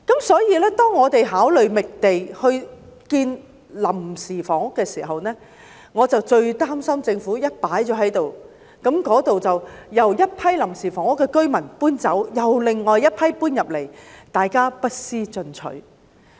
所以，當我們考慮覓地興建臨時房屋時，我最擔心政府一旦興建了過渡性房屋，當一群臨時房屋居民遷出該處後，便有另一群居民搬進來，大家不思進取。